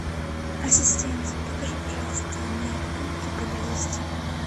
ассистент покажи пожалуйста медпункты поблизости